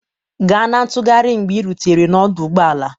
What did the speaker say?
Ga na ntụgharị mgbe ị rutere n'ọdụ ụgbọ ala